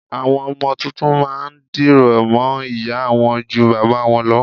Àwọn ọmọ tuntun má a ndìrọ̀ mọ́ ìyá a wọn ju bàbá a wọn lọ